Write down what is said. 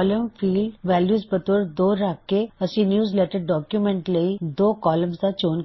column field value ਬਤੋਰ 2 ਰੱਖ ਕੇ ਅਸੀ ਨਿਯੂਜ਼ਲੈੱਟਰ ਡੌਕਯੁਮੈੱਨਟ ਲਈ ਦੋ ਕੌਲਮਜ਼ ਦਾ ਚੋਣ